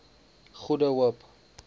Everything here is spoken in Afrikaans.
goede hoop